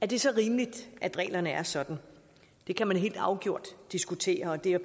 det så rimeligt at reglerne er sådan det kan man helt afgjort diskutere og det er